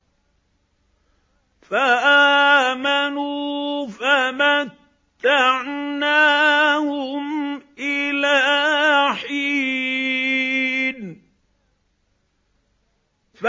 فَآمَنُوا فَمَتَّعْنَاهُمْ إِلَىٰ حِينٍ